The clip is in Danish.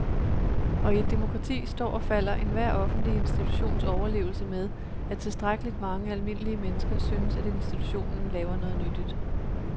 Og i et demokrati står og falder enhver offentlig institutions overlevelse med, at tilstrækkeligt mange almindelige mennesker synes, at institutionen laver noget nyttigt.